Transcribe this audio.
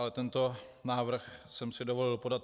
Ale tento návrh jsem si dovolil podat.